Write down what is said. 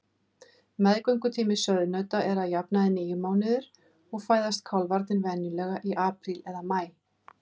Meðgöngutími sauðnauta er að jafnaði níu mánuðir og fæðast kálfarnir venjulega í apríl eða maí.